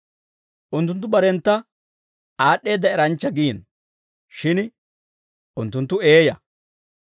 Unttunttu barentta aad'd'eedda eranchcha giino; shin unttunttu eeyaa.